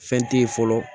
Fɛn te ye fɔlɔ